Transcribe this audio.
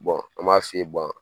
an b'a f'i ye